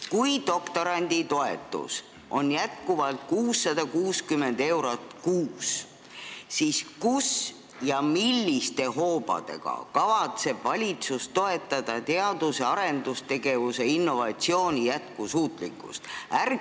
Kui doktoranditoetus on endiselt 660 eurot kuus, siis milliste hoobadega kavatseb valitsus toetada teadus- ja arendustegevuse, innovatsiooni jätkusuutlikkust?